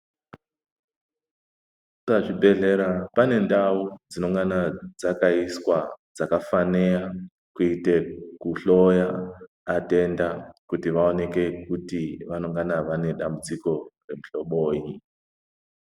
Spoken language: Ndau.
Pazvibhedhlera panendau dzinongana dzakaiswa dzakafanira kuite kuhloya matenda kuti vaoneke kuti vaoneke kuti vanongana vane matambudziko emuhlobonyi.